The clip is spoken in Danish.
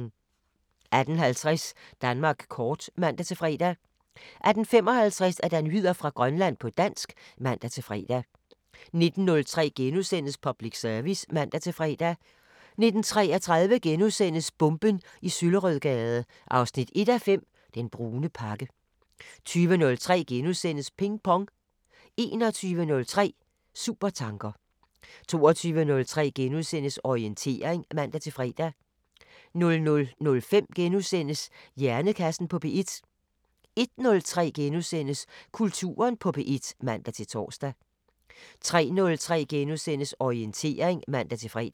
18:50: Danmark kort (man-fre) 18:55: Nyheder fra Grønland på dansk (man-fre) 19:03: Public Service *(man-fre) 19:33: Bomben i Søllerødgade 1:5 – Den brune pakke * 20:03: Ping Pong * 21:03: Supertanker 22:03: Orientering *(man-fre) 00:05: Hjernekassen på P1 * 01:03: Kulturen på P1 *(man-tor) 03:03: Orientering *(man-fre)